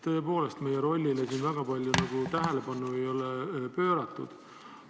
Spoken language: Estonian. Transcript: Tõepoolest, meie rollile siin väga palju tähelepanu ei ole pööratud.